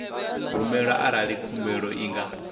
rumelwa arali khumbelo i nga